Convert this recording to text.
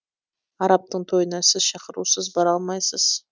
арабтың тойына сіз шақырусыз бара алмайсыз